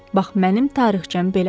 Bax mənim tarixçəm belədir.